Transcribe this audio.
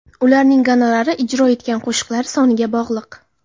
Ularning gonorari ijro etgan qo‘shiqlari soniga bog‘liq.